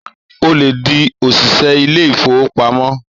Ò lè di òṣìṣẹ́ ilé ìfowópamọ́!